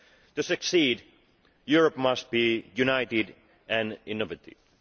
To succeed, Europe must be united and innovative.